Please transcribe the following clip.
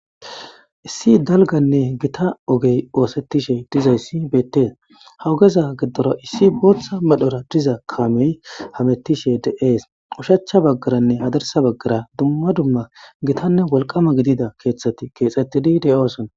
issi dalganne gita ogey oosettishe dizayssi beettes hawugeza giddoro issi booththa medhora diza kaamey hamettishe dees ushachcha baggaranne hadarsa baggara dumma dumma gitanne wolqama gidida keeththati keexettidi deyosona